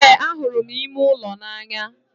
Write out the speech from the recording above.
Ee, ahụrụ m ime ụlọ n'anya